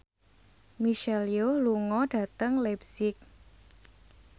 Michelle Yeoh lunga dhateng leipzig